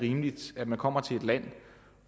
rimeligt at man kommer til et land